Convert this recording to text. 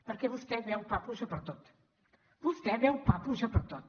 perquè vostè veu papus pertot vostè veu papus pertot